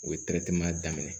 U ye daminɛ